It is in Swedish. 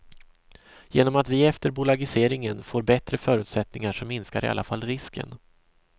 Genom att vi efter bolagiseringen får bättre förutsättningar så minskar i alla fall risken.